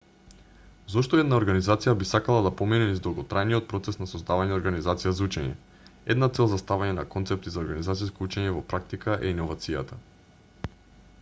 зошто една организација би сакала да помине низ долготрајниот процес на создавање организација за учење една цел за ставање на концепти за организациско учење во практика е иновацијата